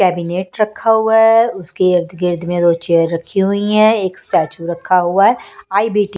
cabinet रखा हुआ है उसके इर्दगिर्द में दो चेयर रखी हुई है एक स्टैचू रखा हुआ है आई_बी के--